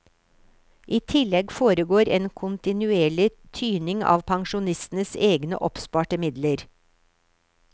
I tillegg foregår en kontinuerlig tyning av pensjonistenes egne oppsparte midler.